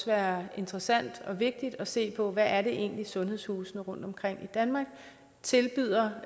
være interessant og vigtigt at se på hvad det egentlig er sundhedshusene rundtomkring i danmark tilbyder